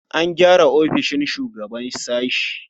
An gyara ofishin shugaban sashe.